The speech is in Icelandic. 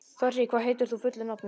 Þorri, hvað heitir þú fullu nafni?